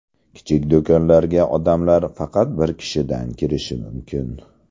Kichik do‘konlarga odamlar faqat bir kishidan kirishi mumkin.